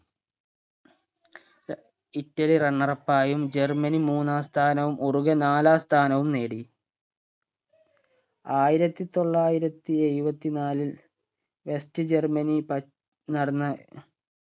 Italy runner up ആയും Germany മൂന്നാം സ്ഥാനവും ഉറുഗേ നാലാം സ്ഥാനവും നേടി ആയിരത്തി തൊള്ളായിരത്തി എഴുവത്തി നാലിൽ west ജർമനി പ നടന്ന